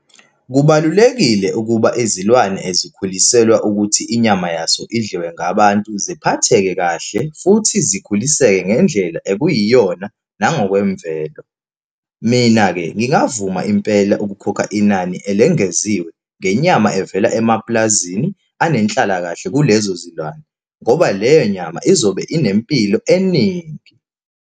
Kubalulekile ukuba izilwane ezikhuliselwa ukuthi inyama yazo idliwe ngabantu ziphatheke kahle, futhi zikhuliseke ngendlela ekuyiyona, nangokwemvelo. Mina-ke ngingavuma impela ukukhokha inani elengeziwe, ngenyama evela emapulazini anenhlalakahle kulezo zilwane, ngoba leyo nyama izobe inempilo eningi.